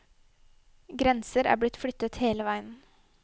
Grenser er blitt flyttet hele veien.